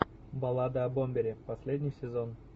баллада о бомбере последний сезон